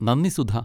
നന്ദി, സുധ.